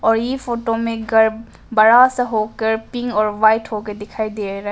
और ई फोटो में घर बड़ा सा होकर पिंक और व्हाइट होकर दिखाई दे रहा है।